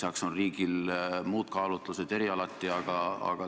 Lisaks on riigil muud kaalutlused erialati.